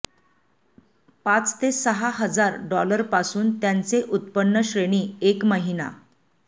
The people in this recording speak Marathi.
पाच ते सहा हजार डॉलर पासून त्यांचे उत्पन्न श्रेणी एक महिना